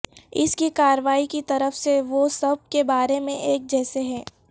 اس کی کارروائی کی طرف سے وہ سب کے بارے میں ایک جیسے ہیں